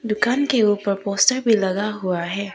दुकान के ऊपर पोस्टर भी लगा हुआ है।